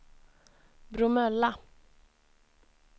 Bromölla